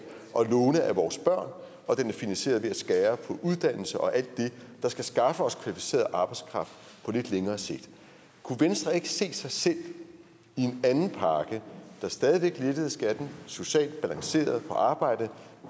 låne af vores børn og den er finansieret ved at skære på uddannelse og alt det der skal skaffe os kvalificeret arbejdskraft på lidt længere sigt kunne venstre ikke se sig selv i en anden pakke der stadig væk lettede skatten socialt balanceret på arbejde